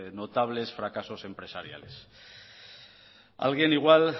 notables fracasos empresariales alguien igual